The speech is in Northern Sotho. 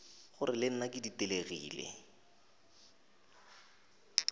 gore le nna ke ditelegile